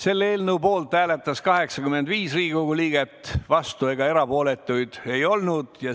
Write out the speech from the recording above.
Selle eelnõu poolt hääletas 85 Riigikogu liiget, vastuolijaid ega erapooletuid ei olnud.